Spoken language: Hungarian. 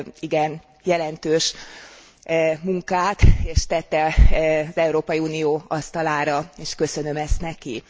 igen jelentős munkát, és tette az Európai Unió asztalára, és köszönöm ezt neki.